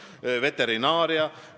Ka veterinaaria võib tuua näiteks.